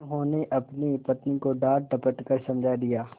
उन्होंने अपनी पत्नी को डाँटडपट कर समझा दिया